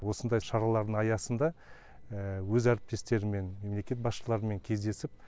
осындай шаралардың аясында өз әріптестеріммен мемлекет басышларымен кездесіп